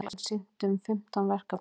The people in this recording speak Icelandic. Lögreglan sinnti um fimmtán verkefnum